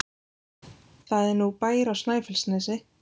Það er nú bær á Snæfellsnesi!